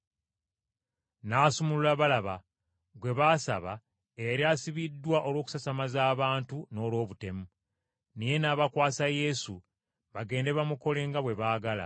N’asumulula Balaba, gwe baasaba eyali asibiddwa olw’okusasamaza abantu n’olw’obutemu. Naye n’abakwasa Yesu bagende bamukole nga bwe baagala.